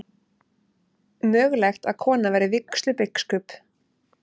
Mögulegt að kona verði vígslubiskup